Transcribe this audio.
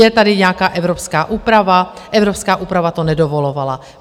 Je tady nějaká evropská úprava, evropská úprava to nedovolovala.